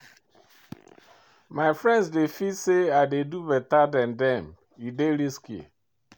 My friends dey feel say I dey do beta dan dem, e dey risky.